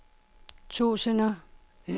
tusinder